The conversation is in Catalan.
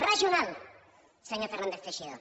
regional senyor fernández teixidó